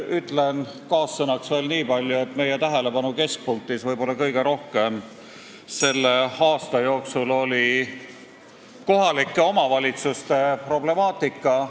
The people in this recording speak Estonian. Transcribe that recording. Ütlen veel niipalju, et meie tähelepanu keskpunktis selle aasta jooksul oli võib-olla kõige rohkem kohalike omavalitsuste problemaatika.